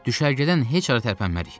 Düşərgədən heç hara tərpənmərik.